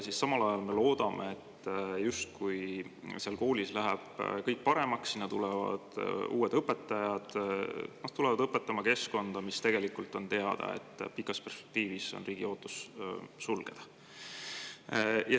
Samal ajal me loodame, et seal koolis läheb kõik paremaks, sinna tulevad uued õpetajad, tulevad õpetama sinna keskkonda, kuigi tegelikult on teada, et pikas perspektiivis on riigi ootus sulgeda.